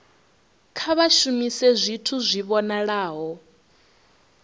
kha vha shumise zwithu zwi vhonalaho